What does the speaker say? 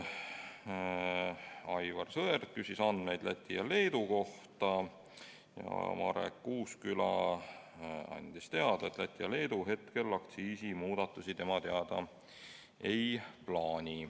Aivar Sõerd küsis andmeid Läti ja Leedu kohta ning Marek Uusküla andis teada, et Läti ja Leedu tema teada aktsiisimuudatusi ei plaani.